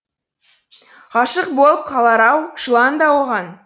ғашық болып қалар ау жылан да оған